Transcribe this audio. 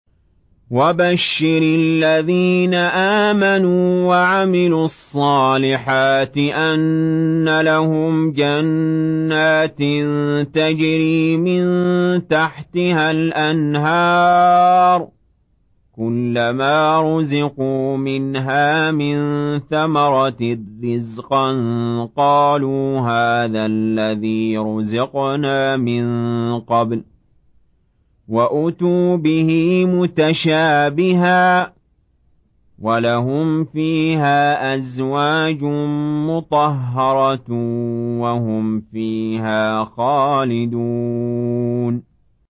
وَبَشِّرِ الَّذِينَ آمَنُوا وَعَمِلُوا الصَّالِحَاتِ أَنَّ لَهُمْ جَنَّاتٍ تَجْرِي مِن تَحْتِهَا الْأَنْهَارُ ۖ كُلَّمَا رُزِقُوا مِنْهَا مِن ثَمَرَةٍ رِّزْقًا ۙ قَالُوا هَٰذَا الَّذِي رُزِقْنَا مِن قَبْلُ ۖ وَأُتُوا بِهِ مُتَشَابِهًا ۖ وَلَهُمْ فِيهَا أَزْوَاجٌ مُّطَهَّرَةٌ ۖ وَهُمْ فِيهَا خَالِدُونَ